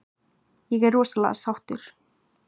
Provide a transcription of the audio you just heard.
Ég er rosalega sáttur.